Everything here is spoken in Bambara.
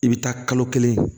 I bɛ taa kalo kelen